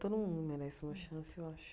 Todo mundo merece uma chance, eu acho.